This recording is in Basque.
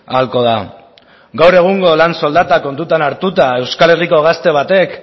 ahalko da gaur egungo lan soldata kontutan hartuta euskal herriko gazte batek